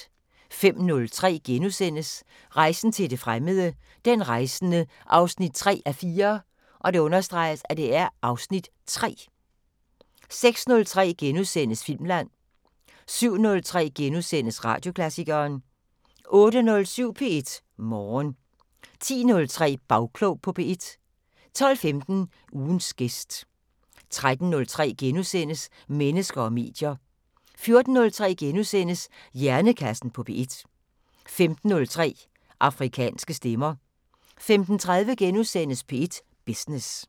05:03: Rejsen til det fremmede: Den rejsende 3:4 (Afs. 3)* 06:03: Filmland * 07:03: Radioklassikeren * 08:07: P1 Morgen 10:03: Bagklog på P1 12:15: Ugens gæst 13:03: Mennesker og medier * 14:03: Hjernekassen på P1 * 15:03: Afrikanske Stemmer 15:30: P1 Business *